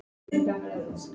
Annað var eftir þessu.